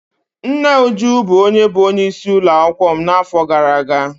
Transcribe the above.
Nne Uju bụ onye bụ onye isi ụlọakwụkwọ m n'afọ gara aga.